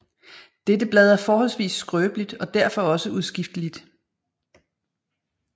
Dette blad er forholdsvis skrøbeligt og derfor også udskifteligt